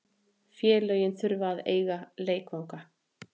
Félögin þurfa að eiga leikvangana.